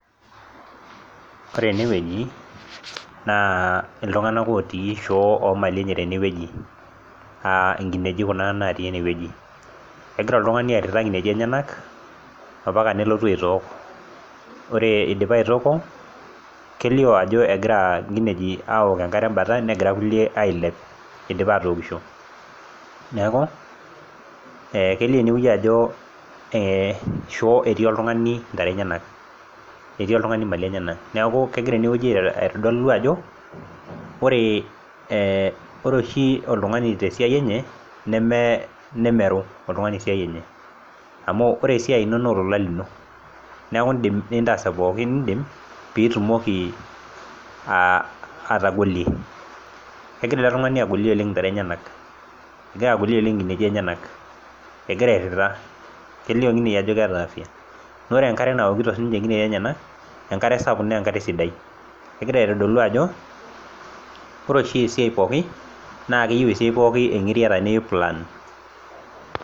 Ore ene wueji naa iltung'anak otii shoo oo mali enye tene wueji, aa inkinejik kuna natii ene wueji. Kegira oltung'ani airira inkinejik enyenak o mpaka nelotu aitook, ore eidipa aitooko kelio ajo egira inkinejik awok enkare embata nagira kulie ailep idipa aatookisho. Neeku ee kelio ene wueji ajo ee shoo etii oltung'ani ntare enyenak etii oltung'ani male eneyenak. Neeku kegira ene wueji aitodolu ajo ore ee ore oshi oltung'ani te siai enye neme nemeru oltung'ani esiai enye amu ore esiai ino noo olola lino, neeku iindim nintaas ee pookin niindim piitumoki aa atagolie. Kegira ele tung'ani agolie oleng' intare enyenak, egira agolie oleng' inkinejik enyenak, egira airira, kelio ninye ajo keeta afya. Ore enkare nawokito siinje inkinejik enyenak, enkare sapuk nee enkare sidai. Kegira aitodolu ajo kore oshi esiai pookin naake eyeu esiai pookin eng'iriata neyeu plan.